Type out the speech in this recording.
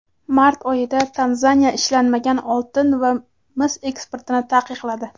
Mart oyida Tanzaniya ishlanmagan oltin va mis eksportini taqiqladi.